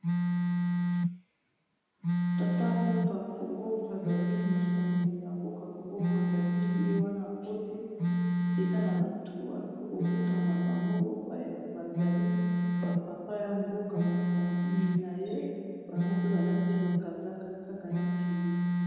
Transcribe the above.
Tata mboka Congo Brazzaville mokonzi ya mboka Congo Brazzaville ye wana akoti eza na batu ake kokutana na bango bazali ba papa ya mboka-mokonzi na ye bango pe balati bakazaka kaka neti ye.